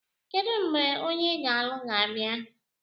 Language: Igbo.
Kedu mgbe onye ị ga-alụ ga-abịa?